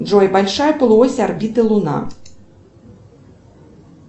джой большая полуось орбиты луна